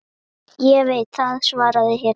Ég veit það, svaraði hinn.